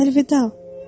Əlvida.